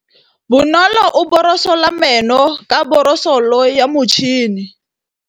Bonolô o borosola meno ka borosolo ya motšhine.